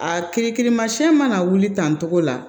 A kiri kirimasiyɛn mana wuli tan togo la